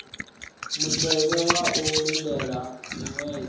mutevhe wa u lindela miṅwedzi